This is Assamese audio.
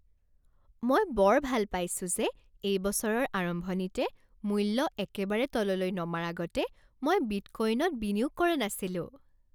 মই বৰ ভাল পাইছো যে এই বছৰৰ আৰম্ভণিতে মূল্য একেবাৰে তললৈ নমাৰ আগতে মই বিটকোইনত বিনিয়োগ কৰা নাছিলোঁ।